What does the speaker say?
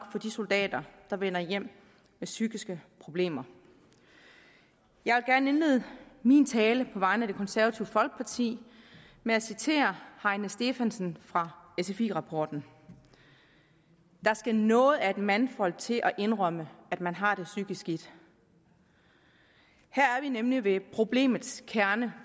for de soldater der vender hjem med psykiske problemer jeg vil gerne indlede min tale på vegne af det konservative folkeparti med at citere heine stefansen fra sfi rapporten der skal noget af et mandfolk til at indrømme at man har det psykisk skidt her er vi nemlig ved problemets kerne